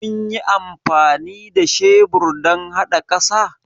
Kunyi amfani da shebur dan hada ƙasa?